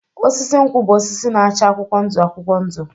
Osisi nkwụ bụ osisi na-acha akwụkwọ ndụ akwụkwọ ndụ.